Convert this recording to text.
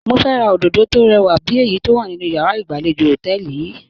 Mo fẹ́ ra òdòdó tó rẹwà bí èyí tó wà nínú yàrá ìgbàlejò hòtẹ́ẹ̀lì yìí.